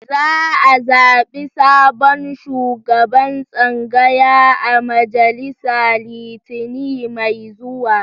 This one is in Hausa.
Za a zaɓi sabon shugaban tsangaya a majalisa Litinin mai zuwa